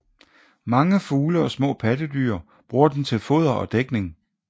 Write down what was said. Mange fugle og små pattedyr bruger den til foder og dækning